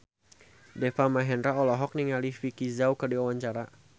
Deva Mahendra olohok ningali Vicki Zao keur diwawancara